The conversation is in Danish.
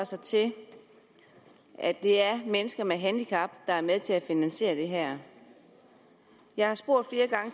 sig til at det er mennesker med handicap der er med til at finansiere det her jeg har spurgt